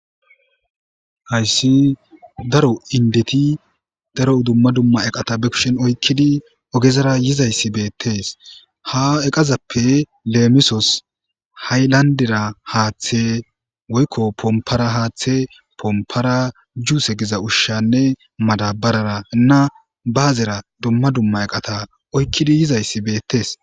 Hayssi daro indeti daro dumma dumma eqata be kushen oykkidi ogezara yizayssi beettes ha eqazappe leemisos ha'y landera haaththe woykko pompara haaththe pompara juuse giza ushshanne madabarara nna baazera dumma dumma eqata oykkidi yizayssi beettees